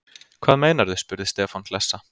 Hvað meinarðu? spurði Stefán hlessa.